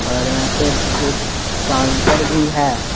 और यहां पे एक काउंटर भी है।